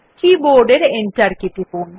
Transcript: কী board এর enter key টিপুন